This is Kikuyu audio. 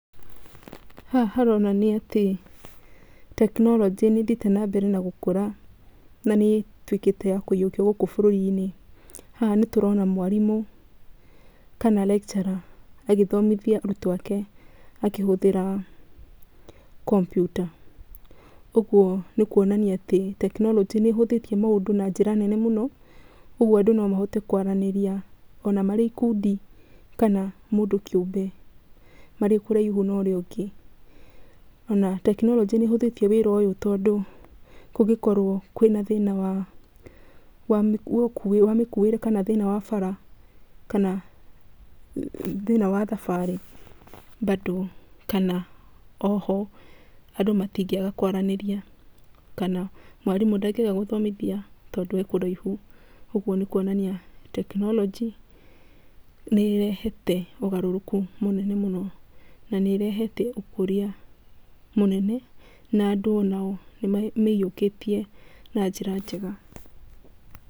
Haha haronania tekinoronjĩ nĩ ĩthiĩte na mbere na gũkũra na nĩ ĩtuĩkĩte ya kũiyũkio gũkũ bũrũri-inĩ. Haha nĩ tũrona mwarimũ kana lecturer agĩthomithia arutwo ake akĩhũthĩra kompiuta. Ũguo nĩ kuonania atĩ tekinoronjĩ nĩ ĩhũthĩtie maũndũ na njĩra nene mũno, ũguo andũ no mahote kwaranĩria ona marĩ ikundi kana mũndũ kĩũmbe arĩ o kũraihu na ũrĩa ũngĩ. Ona tekinoronjĩ nĩ ĩhũthĩtie wĩra ũyũ tondũ kũngĩkorwo kwĩna thĩna wa mĩkuĩre kana thĩna wa bara, kana thĩna wa thabarĩ bando, kana oho, andũ matingĩaga kwaranĩria, kana mwarimũ ndagĩaga gũthomithia tondũ e kũraihu. Ũguo nĩ kuonania tekinoronjĩ nĩ ĩrehete ũgarũrũku mũnene mũno na nĩ ĩrehete ũkũria mũnene, na andũ ona o nĩ mamĩiyũkĩtie na njĩra njega.